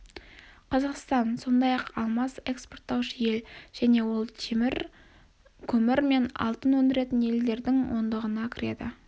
қазақстан сондай-ақ алмас экспорттаушы ел және ол көмір темір мен алтын өндіретін елдердің ондығына кіреді